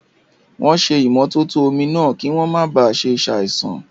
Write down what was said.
Wọ́n ṣé ìmótótó omi náà, kí wọ́n máa ba ṣe àìsàn